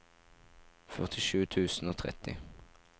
førtisju tusen og tretti